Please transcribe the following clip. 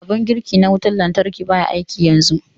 Abun girki na wutar lantarki ɓaya aiki yanzu.